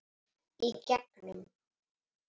Í gegnum